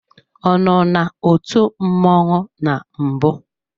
Ọ nọ n'otu mmọnwụ na mbụ?